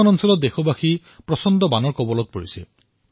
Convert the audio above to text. বহু ঠাই বানৰ দ্বাৰা প্ৰভাৱান্বিত হৈছে